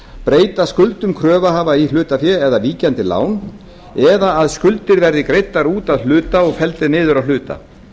breyta skuldum kröfuhafa í hlutafé eða víkjandi lán eða að skuldir verði greiddar út að hluta og felldar niður að hluta